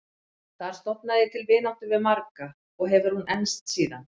Þar stofnaði ég til vináttu við marga og hefur hún enst síðan.